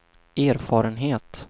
erfarenhet